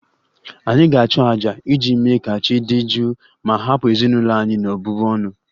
Anyị ga-achụ àjà iji mee ka chi dị jụụ ma hapụ ezinụlọ anyị n'ọbụbụ ọnụ